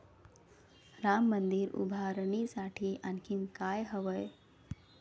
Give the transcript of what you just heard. राम मंदिर उभारणीसाठी आणखी काय हवंय?